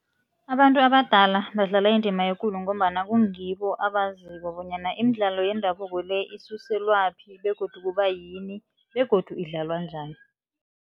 Abantu abadala badlala indima ekulu ngombana kungibo abaziko bonyana imidlalo yendabuko le isuselwaphi begodu kuba yini begodu idlalwa njani.